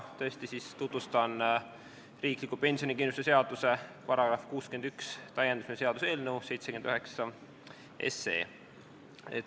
Täna tutvustan riikliku pensionikindlustuse seaduse § 61 täiendamise seaduse eelnõu 79.